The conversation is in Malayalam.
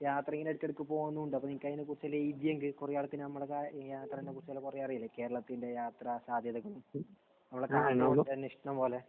യാത്രയെല്ലാം ഇടക്ക് ഇടക്ക് പോകുന്നുമുണ്ട്. അപ്പോൾ നിനക്ക് അതിനെക്കുറിച്ച് കുറെ നാളുകൾക്ക് നമ്മുടേതായ യാത്രയെ കുറിച്ച് കുറെ അറിയില്ലേ. കേരളത്തിന്റെ യാത്രാസാധ്യതകളും ഉള്ള ഇഷ്ടം പോലെ